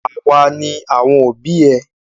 Awa ni àwọn òbí ẹ.